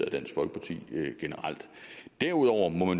af dansk folkeparti generelt derudover må